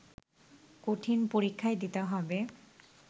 কঠিন পরীক্ষাই দিতে হবে